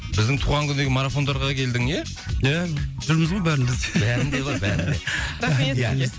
біздің туған күндегі марафондарға келдің ия ия жүрміз ғой бәрімізде бәрінде ғой бәрінде рахмет сізге